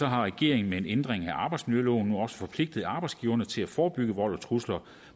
har regeringen med en ændring af arbejdsmiljøloven nu også forpligtet arbejdsgiverne til at forebygge vold og trusler